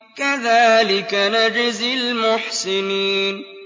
كَذَٰلِكَ نَجْزِي الْمُحْسِنِينَ